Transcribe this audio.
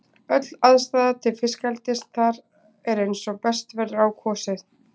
Öll aðstaða til fiskeldis þar er eins og best verður á kosið.